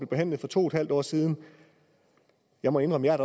behandlet for to en halv år siden jeg må indrømme at